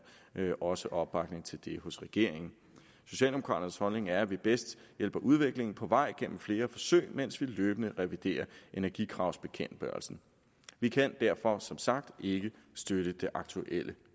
også opbakning til det hos regeringen socialdemokraternes holdning er at vi bedst hjælper udviklingen på vej gennem flere forsøg mens vi løbende reviderer energikravsbekendtgørelsen vi kan derfor som sagt ikke støtte det aktuelle